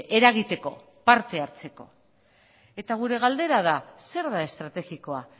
eragiteko parte hartzeko eta gure galdera da zer da estrategikoa